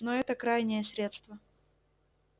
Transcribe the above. но это крайнее средство